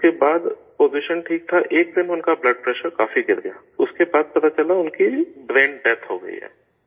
اس کے بعد پوزیشن ٹھیک تھا، ایک دم ان کا بلڈ پریشر کافی گر گیا، اس کے بعد چلا ان کی برین ڈیتھ ہو گئی ہے